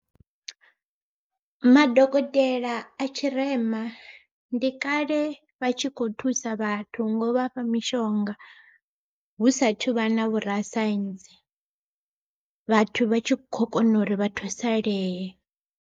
Madokotela a tshirema, ndi kale vha tshi kho thusa vhathu ngo vhafha mishonga, hu sathu vha na vhorasaintsi. Vhathu vha tshi khou kona uri vha thusalee.